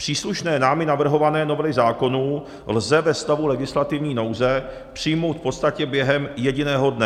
Příslušné námi navrhované novely zákonů lze ve stavu legislativní nouze přijmout v podstatě během jediného dne.